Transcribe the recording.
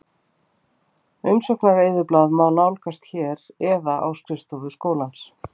Umsóknareyðublað má nálgast hér eða á skrifstofu skólans.